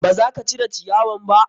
Ba za ka cire ciyawan ba?